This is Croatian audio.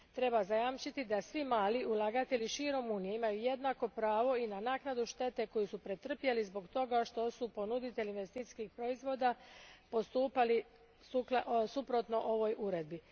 Treba zajamčiti da svi mali ulagatelji širom Unije imaju jednako pravo i na naknadu štete koju su pretrpjeli zbog toga što su ponuditelji investicijskih proizvoda postupali suprotno ovoj uredbi.